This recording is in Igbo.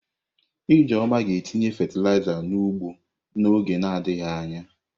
Ijeoma ga-etinye fatịlaịza n'ugbo n'oge adịghị anya.